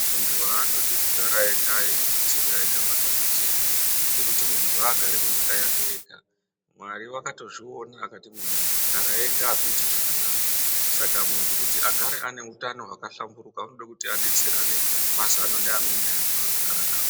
Muntu haandodi kugara ega eizvibetsera ega matambudziko ngekuti muntu haagari munyika yake ega. Mwari vakatozviona vakati muntu kugara ega akuiti zvakanaka. Saka kuti muntu agare aneutano hwakahlamburuka unode kuti abetserane mazano neamweni antu aanogara navo.